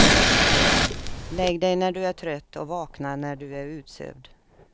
Lägg dig när du är trött och vakna när du är utsövd.